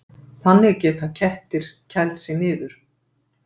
Þannig geta kettir kælt sig niður.